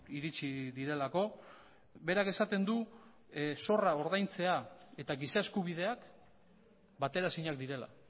iritsi direlako berak esaten du zorra ordaintzea eta giza eskubideak bateraezinak direla